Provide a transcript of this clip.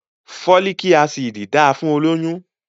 Fólíkì Ásíìdì dáa fún olóyún.